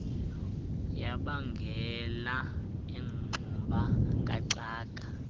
yabangela ingxuba kaxaka